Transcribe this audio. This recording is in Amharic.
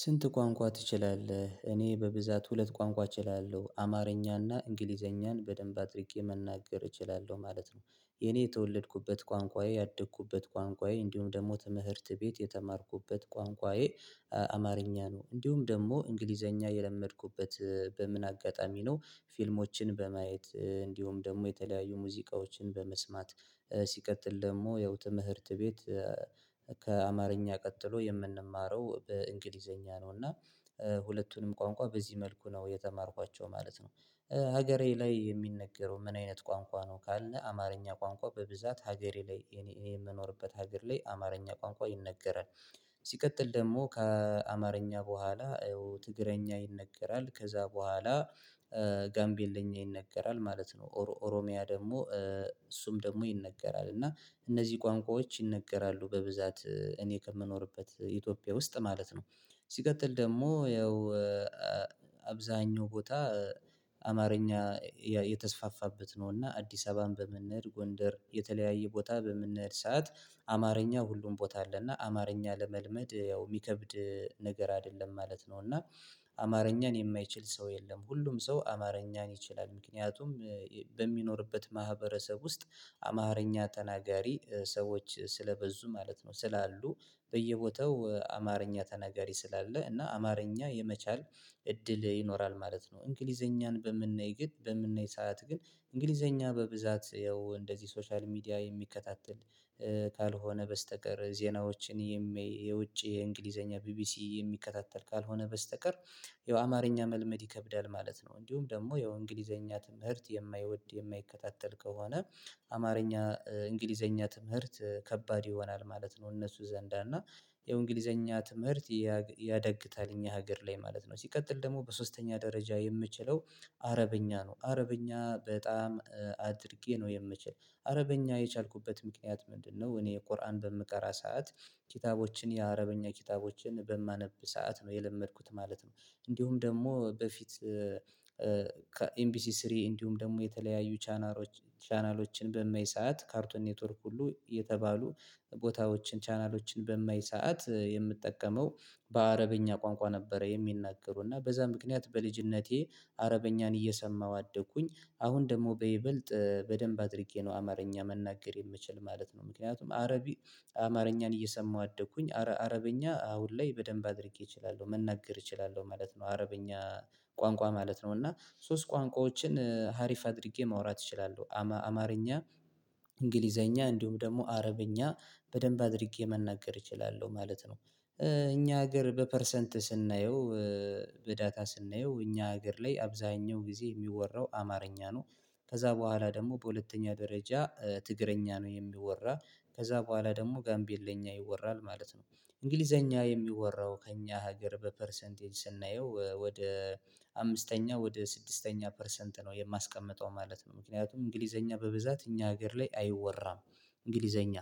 ስንት ቋንቋ ትችላለህ? እኔ በብዛት ሁለት ቋንቋ እችላለሁ አማርኛና እንግሊዘኛን በደንብ አድርጌ መናገር እችላለሁ ማለት ነው። የኔ የተወለድኩበት ቋንቋዬ ያደግኩበት ቋንቋዬ እንዲሁም ደግሞ ትምህርት ቤት የተማርኩበት ቋንቋዬ አማረኛ ነው እንዲሁም ደግሞ እንግሊዘኛ የለመድኩበት። በምን አጋጣሚ ነው? ፊልሞችን በማየት እንዲሁም ደግሞ የተለያዩ ሙዚቃዎችን በመስማት ሲቀጥል ደሞ ያው ትምህርት ቤት። ከአማርኛ ቀጥሎ የምንማረው በእንግሊዘኛ ነው እና ሁለቱንም ቋንቋ በዚህ መልኩ ነው የተማርኳቸው ማለት ነው። ሀገሬ ላይ የሚነገረው ምን አይነት ቋንቋ ነው? ካልነህ አማርኛ ቋንቋ በብዛት ሀገሬ ላይ እኔ እኔ የምኖርበት ሀገር ላይ አማርኛ ቋንቋ ይነገራል። ሲቀጥል ደግሞ ከአማርኛ በኋላ ትግረኛ ይነገራል ከዛ በኋላ ጋምቤልኛ ይነገራል ማለት ነው። ኦሮሚያ ደግሞ እሱም ደግሞ ይነገራል እና እነዚህ ቋንቋዎች ይነገራሉ በብዛት እኔ ከምኖርበት ኢትዮጵያ ውስጥ ማለት ነው። ሲቀጥል ደግሞ ያው አብዛኛው ቦታ አማርኛ የተስፋፋበት ነው። እና አዲስ አበባን በምንሄድ ጎንደር የተለያየ ቦታ በምንሄድ ሰዓት አማርኛ ሁሉም ቦታ አለ እና አማርኛ ለመልመድ ያው ሚከብድ ነገር አይደለም ማለት ነው። እና አማርኛን የማይችል ሰው የለም ሁሉም ሰው አማርኛን ይችላል ምክንያቱም። በሚኖርበት ማህበረሰብ ውስጥ አማርኛ ተናጋሪ ሰዎች ስለበዙ ማለት ነው ስላሉ በየቦታው አማርኛ ተናጋሪ ስላለ እና አማርኛ የመቻል እድል ይኖራል ማለት ነው። እንግሊዘኛን በምናይ ግድ በምናይ ሰዓት ግን እንግሊዘኛ በብዛት ያው እንደዚህ ሶሻል ሚዲያ የሚከታተል ካልሆነ በስተቀር ዜናዎችን የውጭ የእንግሊዘኛ ቢቢሲ የሚከታተል ካልሆነ በስተቀር ያው አማርኛ መልመድ ይከብዳል ማለት ነው። እንዲሁም ደግሞ ያው እንግሊዘኛ ትምህርት የማይወድ የማይከታተል ከሆነ አማርኛ እንግሊዘኛ ትምህርት ከባድ ይሆናል ማለት ነው። እነሱ ዘንዳ እና ይሄው እንግሊዘኛ ትምህርት ያደግታል ሀገር ላይ ማለት ነው። ሲቀጥል ደግሞ በሶስተኛ ደረጃ የምችለው አረበኛ ነው። አረበኛ በጣም አድርጌ ነው የምችል አረበኛ የቻልኩበት ምክንያት ምንድነው? እኔ ቁርአን በምቀራ ሰዓት ኪታቦችን የአረበኛ ኪታቦችን በማነብ ሰዓት ነው የለመድኩት ማለት ነው። እንዲሁም ደግሞ በፊት ከኤምቢሲ ስሪ እንዲሁም ደግሞ የተለያዩ ቻናሎች ቻናሎችን በመይሳት ካርቶን ኔትወርክ ሁሉ የተባሉ ቦታዎችን ቻናሎችን በማይ ሰዓት የምትጠቀመው በአረበኛ ቋንቋ ነበረ የሚናገሩ እና በዛ ምክንያት በልጅነቴ አረበኛን እየሰማሁ አደግኩኝ። አሁን ደግሞ በይበልጥ በደንብ አድርጌ ነው አማርኛ መናገር የምችል ማለት ነው። ምክንያቱም አረብ አማርኛን እየሰማሁ አደኩኝ አረ አረበኛ አሁን ላይ በደንብ አድርጌ እችላለሁ መናገር እችላለሁ ማለት ነው። አረበኛ ቋንቋ ማለት ነው። እና ሶስት ቋንቋዎችን ሀሪፍ አድርጌ ማውራት ይችላሉ አማርኛ እንግሊዘኛ እንዲሁም ደግሞ አረብኛ በደንብ አድርጌ መናገር እችላለሁ ማለት ነው። እኛ ሀገር በፐርሰንት ስናየው በዳታ ስናየው እኛ ሀገር ላይ አብዛኛው ጊዜ ሚወራው አማርኛ ነው። ከዛ በኋላ ደግሞ በሁለተኛ ደረጃ ትግረኛ ነው የሚወራ ከዛ በኋላ ደግሞ ጋምቤል ለኛ ይወራል ማለት ነው። እንግሊዘኛ የሚወራው ከእኛ ሀገር በፐርሰንቴን ስናየው ወደ አምስተኛ ወደ ስድስተኛ ፐርሰንት ነው የማስቀምጠው ማለት ነው። ምክንያቱም እንግሊዘኛ በብዛት እኛ ሀገር ላይ አይወራም። እንግሊዘኛ